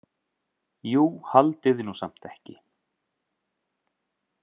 Jú, haldiði nú samt ekki.